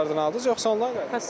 Kassalardan aldınız yoxsa onlayndan?